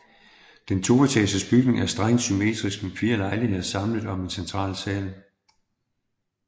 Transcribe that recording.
Den toetagers bygning er strengt symmetrisk med fire lejligheder samlet om en central sal